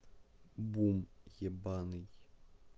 бум ебанный